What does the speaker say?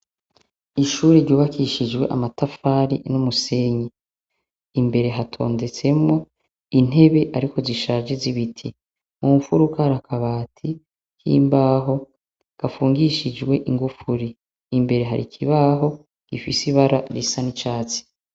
Ishure ryubakishijwe amatafari n'umusenyi imbere hatondetsemwo intebe ariko zishaje zibiti mumfuruka harakabati kimbaho gafungishijwe ingufuri imbere hari ikibaho gifise ibara risa n'icatsi.